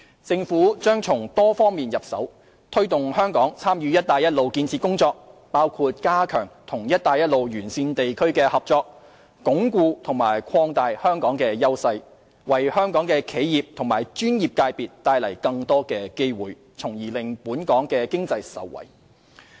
政府將從多方面入手，推動香港參與"一帶一路"建設工作，包括加強與"一帶一路"沿線地區的合作，以鞏固和擴大香港的優勢，為香港的企業及專業界別帶來更多的機會，從而令本港經濟受惠。